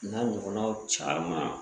N'a ɲɔgɔnnaw caman